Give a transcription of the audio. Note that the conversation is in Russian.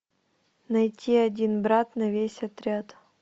найти один брат на весь отряд